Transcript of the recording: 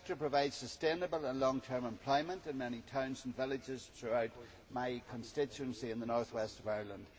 The sector provides sustainable and long term employment in many towns and villages throughout my constituency in the north west of Ireland.